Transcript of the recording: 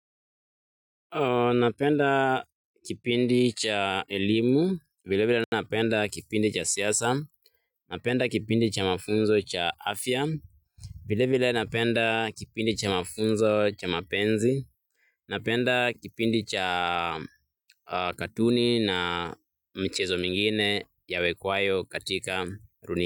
Napenda kipindi cha elimu, vile vile napenda kipindi cha siasa, napenda kipindi cha mafunzo cha afya, vile vile napenda kipindi cha mafunzo cha mapenzi, napenda kipindi cha katuni na mchezo mingine yawekwayo katika runi.